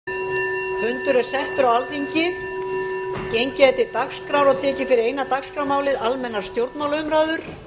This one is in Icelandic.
gengið er til dagskrár og tekið fyrir eina dagskrármálið almennar stjórnmálaumræður